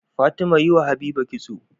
Fatima yi wa habiba kitso